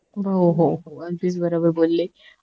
हो हो अगदीच बरोबर बोलली